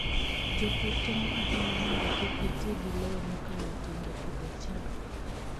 Jopur temo ahinya mondo kik giti gi lowo mokalo tong' e pidho cham.